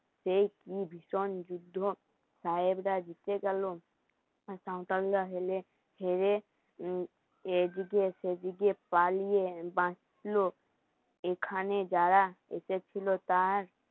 সেই কি ভীষণ যুদ্ধ সাহেবরা জিতে গেল এদিকে সেদিকে পালিয়ে বাঁচলো এখানে যারা এসেছিলো তার